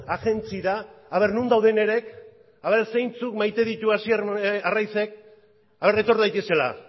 agentziara ea non dauden ea zeintzuk maite dituen hasier arraizek etor daitezela